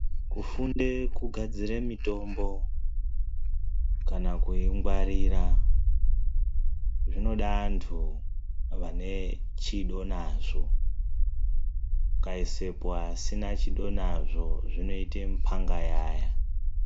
Kufundira kugadzira mitombo kana kuingwarira zvinoda andu ane chido nazvo. Ukaisapo asina chido nazvo zvinoita mupangayaya.